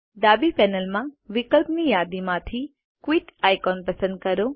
ડાબી પેનલમાં વિકલ્પની યાદીમાંથી ક્વિટ આઇકોન પસંદ કરો